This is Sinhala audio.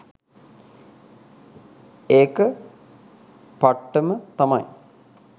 ඒක පට්ටම තමයි.